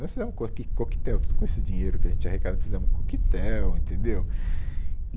Nós fizemos um coque coquetel, tudo com esse dinheiro que a gente arrecada, fizemos um coquetel, entendeu?